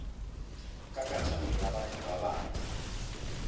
katlego ya batho ba bangwe